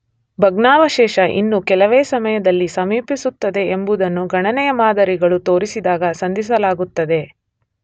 ಭಗ್ನಾವಶೇಷ ಇನ್ನೂ ಕೆಲವೇ ಸಮಯದಲ್ಲಿ ಸಮೀಪಿಸುತ್ತದೆ ಎಂಬುದನ್ನು ಗಣನೆಯ ಮಾದರಿಗಳು ತೋರಿಸಿದಾಗ ಸಂಧಿಸಲಾಗುತ್ತದೆ.